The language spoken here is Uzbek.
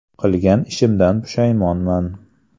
Qilgan ishimdan pushaymonman.